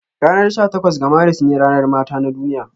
Ranar sha takwas ga Maris ne ranar mata na duniya.